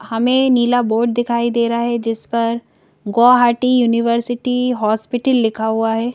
हमें नीला बोर्ड दिखाई दे रहा है जिस पर गोवाहाटी यूनिवर्सिटी हॉस्पिटल लिखा हुआ है।